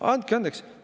Andke andeks!